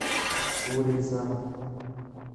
курица